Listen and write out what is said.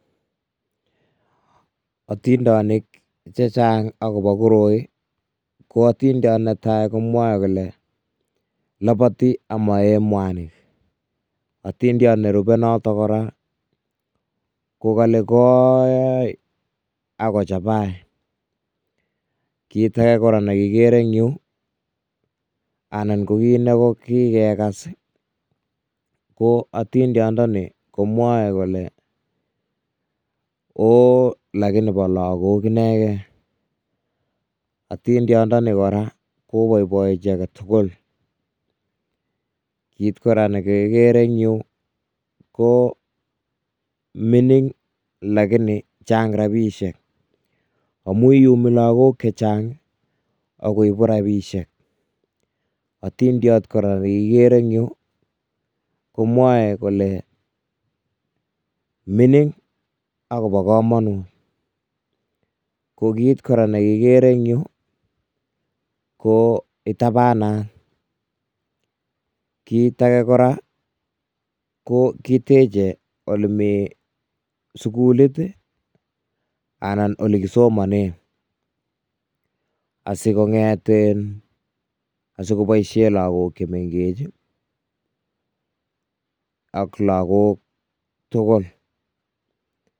Otindonik chechang akobo koroi, ko atindon neta komwae kole, loboti ako moe mwanik, atindon nerube notok kora kokole kooi ako chabai, kiit ake nakere eng yu anan ko kit neki kekas, ko atindon nii, komwoe kole ooo lakini bo lakok inekee, atindon noni kora koboboi jii aketugul, kit kora nekekere eng yu Koo mining lakini chang rabisiek amuu iyumi lakon chechang akoibu rabisiek, atindiot kora nakikere eng yu komwoe kole mining akobo komonut, kit kora nekikere eng yu ko itabanat, kit ake kora ko kiteche eng olemi sukulit ii anan olekisomonen asikonget, asikoboisien lakok chemengech, ak lakok tugul,